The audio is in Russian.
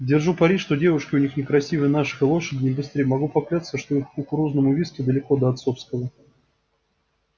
держу пари что девушки у них не красивее наших и лошади не быстрее и могу поклясться что их кукурузному виски далеко до отцовского